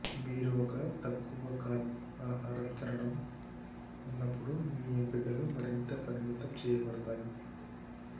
మీరు ఒక తక్కువ కార్బ్ ఆహారం తినడం ఉన్నప్పుడు మీ ఎంపికలు మరింత పరిమితం చేయబడతాయి